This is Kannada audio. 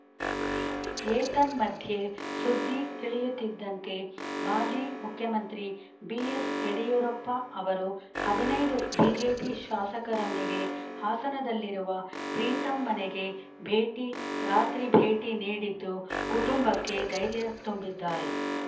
ಏತನ್ಮಧ್ಯೆ ಸುದ್ದಿ ತಿಳಿಯುತ್ತಿದ್ದಂತೆ ಮಾಜಿ ಮುಖ್ಯಮಂತ್ರಿ ಬಿಎಸ್‌ಯಡಿಯೂರಪ್ಪ ಅವರು ಹದಿನೈದು ಬಿಜೆಪಿ ಶಾಸಕರೊಂದಿಗೆ ಹಾಸನದಲ್ಲಿರುವ ಪ್ರೀತಂ ಮನೆಗೆ ಭೇಟಿ ರಾತ್ರಿ ಭೇಟಿ ನೀಡಿದ್ದು ಕುಟುಂಬಕ್ಕೆ ಧೈರ್ಯ ತುಂಬಿದ್ದಾರೆ